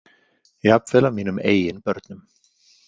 Jafnvel af mínum eigin börnum.